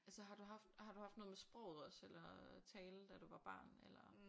Altså har du haft har du haft noget med sproget også eller tale da du var barn eller?